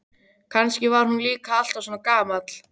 Kannski var hann líka alltaf svona gamall.